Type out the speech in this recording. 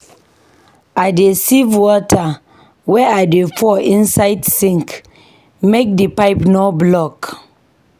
I dey sieve water wey I dey pour inside sink make di pipe no block.